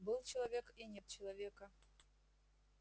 был человек и нет человека